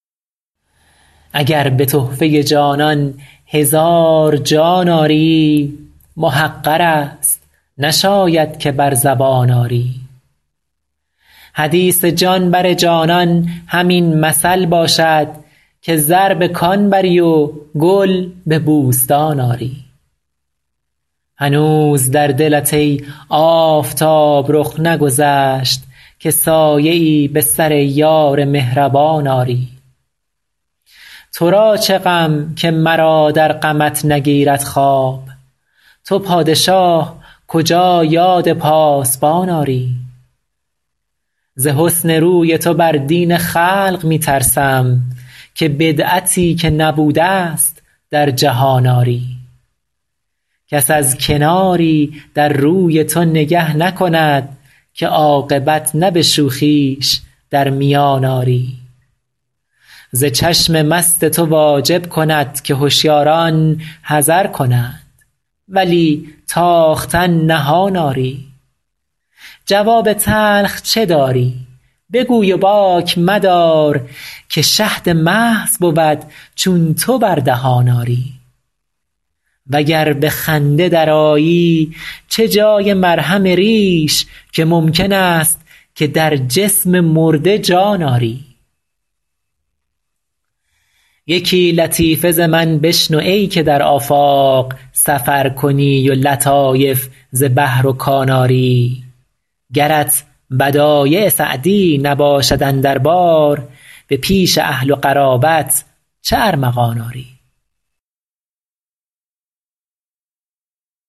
اگر به تحفه جانان هزار جان آری محقر است نشاید که بر زبان آری حدیث جان بر جانان همین مثل باشد که زر به کان بری و گل به بوستان آری هنوز در دلت ای آفتاب رخ نگذشت که سایه ای به سر یار مهربان آری تو را چه غم که مرا در غمت نگیرد خواب تو پادشاه کجا یاد پاسبان آری ز حسن روی تو بر دین خلق می ترسم که بدعتی که نبوده ست در جهان آری کس از کناری در روی تو نگه نکند که عاقبت نه به شوخیش در میان آری ز چشم مست تو واجب کند که هشیاران حذر کنند ولی تاختن نهان آری جواب تلخ چه داری بگوی و باک مدار که شهد محض بود چون تو بر دهان آری و گر به خنده درآیی چه جای مرهم ریش که ممکن است که در جسم مرده جان آری یکی لطیفه ز من بشنو ای که در آفاق سفر کنی و لطایف ز بحر و کان آری گرت بدایع سعدی نباشد اندر بار به پیش اهل و قرابت چه ارمغان آری